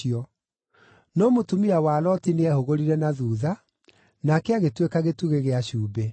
No mũtumia wa Loti nĩehũgũrire na thuutha, nake agĩtuĩka gĩtugĩ gĩa cumbĩ.